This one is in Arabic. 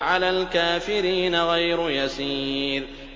عَلَى الْكَافِرِينَ غَيْرُ يَسِيرٍ